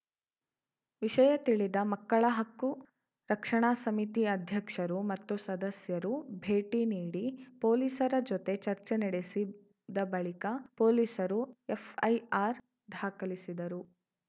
ವಿಷಯ ತಿಳಿದ ಮಕ್ಕಳ ಹಕ್ಕು ರಕ್ಷಣಾ ಸಮಿತಿ ಅಧ್ಯಕ್ಷರು ಮತ್ತು ಸದಸ್ಯರು ಭೇಟಿ ನೀಡಿ ಪೊಲೀಸರ ಜೊತೆ ಚರ್ಚೆ ನಡೆಸಿದ ಬಳಿಕ ಪೊಲೀಸರು ಎಫ್‌ಐಆರ್‌ ದಾಖಲಿಸಿದರು